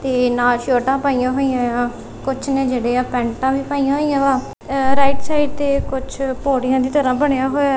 ਤੇ ਨਾਲ ਸ਼ਰਟਾਂ ਪਾਈਆਂ ਹੋਈਆਂ ਆ ਕੁਛ ਨੇ ਜਿਹੜੇ ਆ ਪੈਂਟਾਂ ਵੀ ਪਈਆਂ ਹੋਈਆਂ ਵਾ ਅ ਰਾਈਟ ਸਾਈਡ ਤੇ ਕੁੱਝ ਪੌੜੀਆਂ ਦੀ ਤਰ੍ਹਾਂ ਬਣਿਆ ਹੋਇਆ --